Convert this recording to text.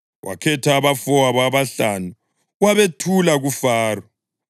Wakhetha abafowabo abahlanu wabethula kuFaro.